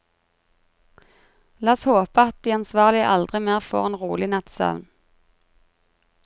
La oss håpe at de ansvarlige aldri mer får en rolig natts søvn.